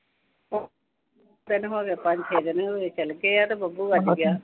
ਆਪਾਂ ਨੂੰ ਖਬਰ ਈ ਨੀਂ ਆ, ਚਲ ਪਿਆ ਕਿ ਬੱਬੂ